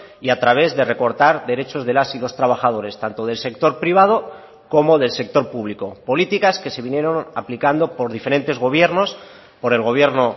y a través de recortar derechos de las y los trabajadores tanto del sector privado como del sector público políticas que se vinieron aplicando por diferentes gobiernos por el gobierno